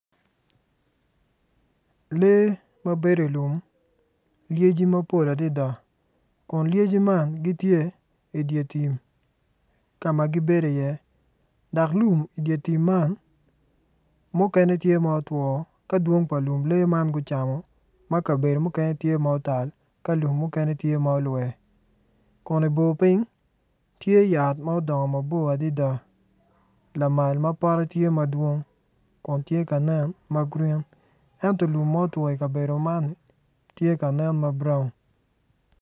Lee ma bedo i lum lyeci mapol adada kun lyeci man gitye i dye tim ka ma gibedo iye dok lum i dye tim man mukene tye ma otwo ka dwong pa lum lee man gucamo woko ma kabedo mukene tye ma otal ka lum mukene tye ma olwe kun i bor piny tye yat ma odongo mabor adada lamal mapote tye madwong kun tye ka nen magreen ento lum ma otwo i kabedo man tye ka nen ma buraun.